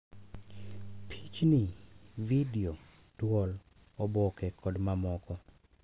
Pichni, vidio, dwol, oboke kod mamoko.